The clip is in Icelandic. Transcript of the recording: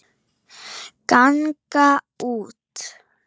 ganga út